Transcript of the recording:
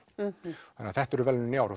þannig þetta eru verðlaunin í ár og